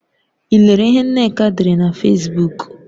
I lere ihe Nneka dere na Fesbuk?